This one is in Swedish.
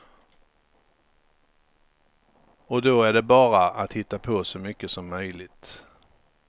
Och då är det bara att hitta på så mycket som möjligt.